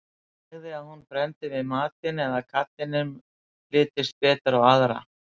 Nægði að hún brenndi við matinn eða að karlinum litist betur á aðra.